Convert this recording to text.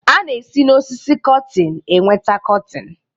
A na-esi n'osisi cọtin enweta cọtin